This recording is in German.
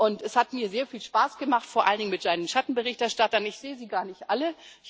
Und es hat mir sehr viel Spaß gemacht, vor allen Dingen mit meinen Schattenberichterstattern ich sehe sie gar nicht alle.